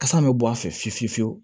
Kasa bɛ bɔ a fɛ fiye fiye fiyewu